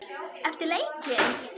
Eftir leikinn?